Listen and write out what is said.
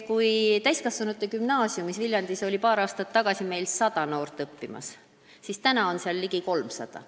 Kui paar aastat tagasi õppis Viljandi Täiskasvanute Gümnaasiumis 100 noort, siis nüüd on neid seal ligi 300.